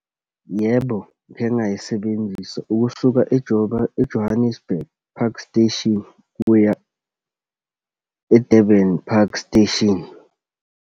Yebo, ngikhe ngayisebenzisa, ukusuka e-Johannesburg Park Station ukuya e-Durban Park Station.